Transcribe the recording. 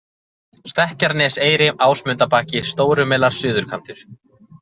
Stekkjarneseyri, Ámundabakki, Stórumelar, Suðurkantur